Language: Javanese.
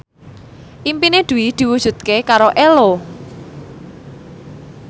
impine Dwi diwujudke karo Ello